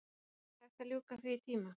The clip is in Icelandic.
Og var ekki hægt að ljúka því í tíma?